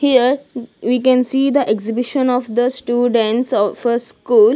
Here we can see the exhibition of the students of a school.